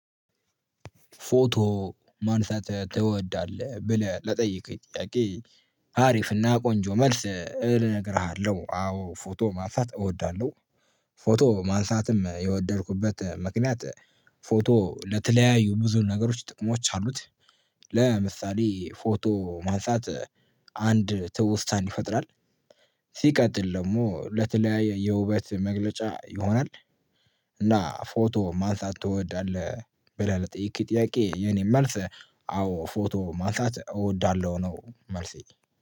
ፎቶ ማንሳት ትወዳለህ ብለህ ለጠየቅክ ጥያቄ አሪፍና ቆንጆ መልስ እነግርሃለሁ አዎ ፎቶ ማንሳት እወዳለሁ። ፎቶ ማንሳትም የወደድኩበት ምክንያት ፎቶ ለተለያዩ ብዙ ነገሮች ጥቅሞች አሉት። ለምሳሌ ፎቶ ማንሳት አንድ ትውስታን ይፈጥራል። ሲቀጥል ደግሞ ለተለያየ የውበት መግለጫ ይሆናል። እና ፎቶ ማንሳት ትወዳለህ ብለህ ለጠየከኝ ጥያቄ የኔ መልስ አዎ ፎቶ ማንሳት እወዳለሁ ነው መልሴ